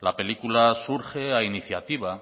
la película surge a iniciativa